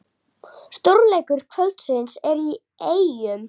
Stórleikur kvöldsins er í Eyjum